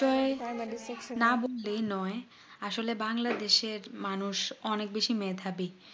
যে বিষয়ে না বললেই নয় আসলে বাংলাদেশ এর মানুষ অনেক বেশি মেধাবী